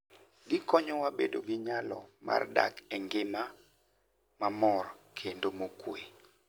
Gikonyowa bedo gi nyalo mar dak e ngima mamor kendo mokuwe.